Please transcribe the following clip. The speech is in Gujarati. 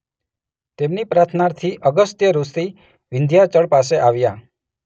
તેમની પ્રાર્થનાથી અગસ્ત્ય ઋષિ વિંધ્યાચળ પાસે આવ્યા.